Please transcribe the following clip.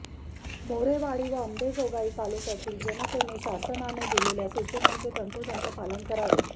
मोरेवाडी व अंबाजोगाई तालुक्यातील जनतेने शासनाने दिलेल्या सूचनांचेे तंतोतंत पालन करावे